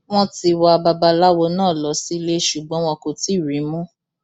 wọn ti wa babaláwo náà lọ sílé e ṣùgbọn wọn kò tí ì rí i mú